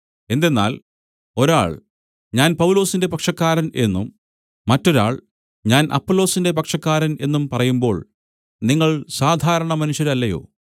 എന്തെന്നാൽ ഒരാൾ ഞാൻ പൗലൊസിന്റെ പക്ഷക്കാരൻ എന്നും മറ്റൊരാൾ ഞാൻ അപ്പൊല്ലോസിന്റെ പക്ഷക്കാരൻ എന്നും പറയുമ്പോൾ നിങ്ങൾ സാധാരണമനുഷ്യരല്ലയോ